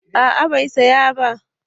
A'a bai saya ba